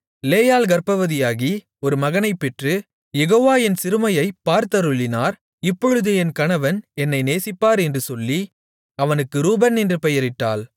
லேயாள் கர்ப்பவதியாகி ஒரு மகனைப் பெற்று யெகோவா என் சிறுமையைப் பார்த்தருளினார் இப்பொழுது என் கணவன் என்னை நேசிப்பார் என்று சொல்லி அவனுக்கு ரூபன் என்று பெயரிட்டாள்